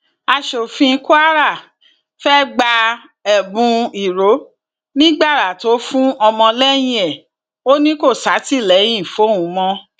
aṣòfin kwara fẹẹ gba ẹbùn ìrónígbára tó fún ọmọlẹyìn ẹ ò ní kó ṣàtìlẹyìn fóun mọ